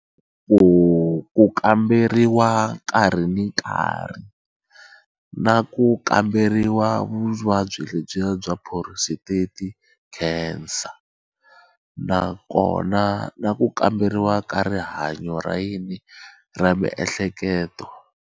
Ku kamberiwa nkarhi ni nkarhi na ku kamberiwa vuvabyi lebyi ya bya prostate cancer nakona na ku kamberiwa ka rihanyo ra yini ra miehleketo.